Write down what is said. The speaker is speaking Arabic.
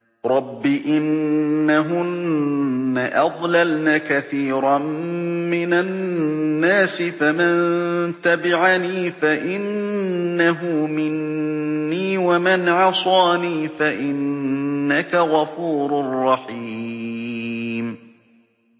رَبِّ إِنَّهُنَّ أَضْلَلْنَ كَثِيرًا مِّنَ النَّاسِ ۖ فَمَن تَبِعَنِي فَإِنَّهُ مِنِّي ۖ وَمَنْ عَصَانِي فَإِنَّكَ غَفُورٌ رَّحِيمٌ